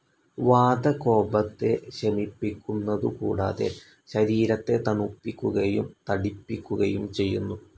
വാതകോപത്തെ ശമിപ്പിക്കുന്നതു കൂടാതെ, ശരീരത്തെ തണുപ്പിക്കുകയും തടിപ്പിക്കുകയും ചെയ്യുന്നു.